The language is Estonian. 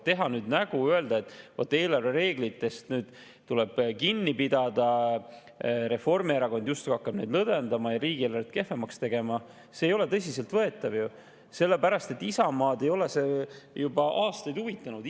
Teha nüüd nägu, öelda, et vaat eelarvereeglitest tuleb kinni pidada, Reformierakond justkui hakkab neid lõdvendama ja riigieelarvet kehvemaks tegema – see ei ole tõsiselt võetav ju, Isamaad ei ole see juba aastaid huvitanud.